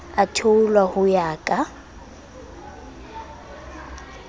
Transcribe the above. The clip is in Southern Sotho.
a theolwa ho ya ka